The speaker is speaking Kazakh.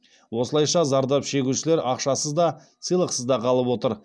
осылайша зардап шегушілер ақшасыз да сыйлықсыз да қалып отыр